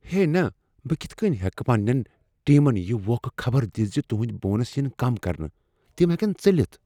ہے نَہ۔۔۔بہٕ کتھ کٕنۍ ہیکہٕ پننین ٹیمن یِہ ووکھٕ خبر دِتھ زِ تِہندۍ بونس یِن کم کرنہٕ ؟ تِم ہیکن ژٔلِتھ ۔